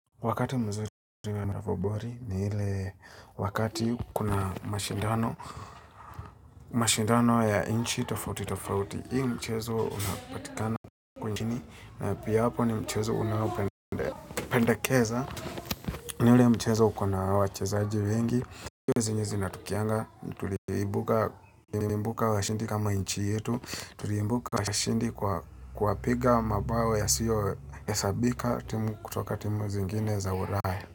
Wakati mzuri ni ile wakati kuna mashindano ya inchi tofauti tofauti. Hii mchezo unapatikana kwenye kini na pia hapo ni mchezo unaopendakeza. Ni ule mchezo uko na wachezaji wengi. Zenye zinatukianga, tuliimbuka washindi kama inchi yetu. Tuliimbuka washindi kwa kuwapiga mabao yasiyo hesabika kutoka timu zingine za uraya.